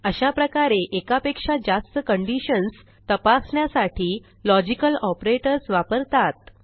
अशाप्रकारे एकापेक्षा जास्त कंडिशन्स तपासण्यासाठी लॉजिकल ऑपरेटर्स वापरतात